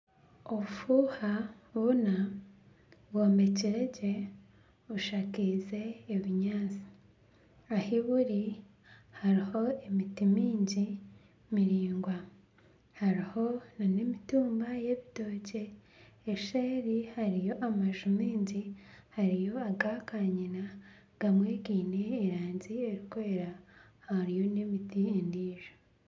Obufuuha buna bwombekire gye, bushakaize ebinyaatsi ahi buri hariho emiti mingi miraingwa, hariho nana emitumba y'ebitookye, eseeri hariyo amaju maingi hariyo aga kanyina, gamwe gaine erangi erikwera hariyo n'emiti endiijo